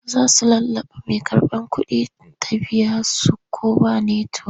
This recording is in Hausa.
Za su lallaɓa mai karɓar kuɗin ta biya su ko ba netiwok.